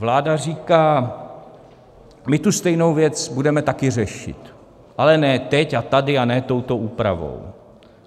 Vláda říká: my tu stejnou věc budeme taky řešit, ale ne teď a tady a ne touto úpravou.